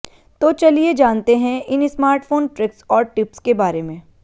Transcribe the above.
तो चलिए जानते है इन स्मार्टफोन ट्रिक्स और टिप्स के बारे में